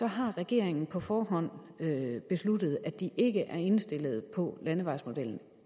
har regeringen på forhånd besluttet at de ikke er indstillet på landevejsmodellen